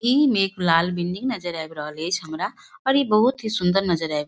इ मे एक लाल बिल्डिंग नजर आब रहल ऐच्छ हमरा और इ बहुत ही सूंदर नजर आब |